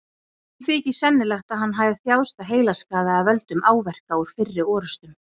Sumum þykir sennilegt að hann hafi þjáðst af heilaskaða af völdum áverka úr fyrri orrustum.